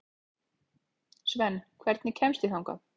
Svend, hvernig kemst ég þangað?